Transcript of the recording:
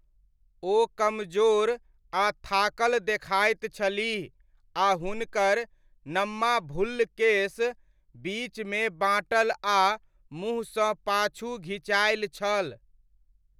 ओ कमजोर आ थाकल देखाइत छलीह आ हुनकर नम्मा भुल्ल केश बीचमे बाँटल आ मुँहसँ पाछू घीचायल छल।